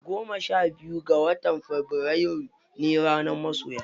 Goma sha biyu ga watan fabrairu ne ranar masoya.